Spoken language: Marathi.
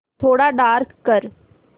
थोडा डार्क कर